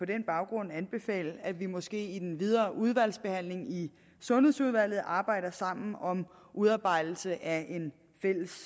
den baggrund anbefale at vi måske i den videre udvalgsbehandling i sundhedsudvalget arbejder sammen om udarbejdelse af på den